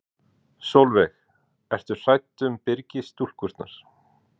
Sólveig: Ertu hrædd um Byrgis-stúlkurnar?